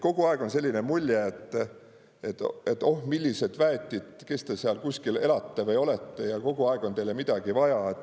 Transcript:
Kogu aeg on selline mulje, et oh, millised väetid, kes te kuskil elate või olete ja kogu aeg on teil midagi vaja.